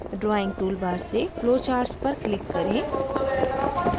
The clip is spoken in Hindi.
drawing toolbar से flowcharts पर click करें